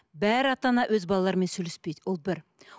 бар ата ана өз балаларымен сөйлеспейді ол бір